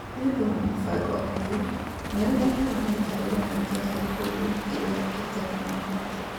Nĩ ũndũ wa mũbango ũyũ, nĩ ũrehaga mĩikarĩre mĩingĩ ya ikundi iria itarĩ na ũhoti.